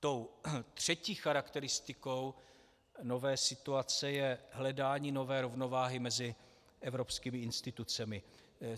Tou třetí charakteristikou nové situace je hledání nové rovnováhy mezi evropskými institucemi.